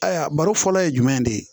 Ayiwa baro fɔlɔ ye jumɛn ye de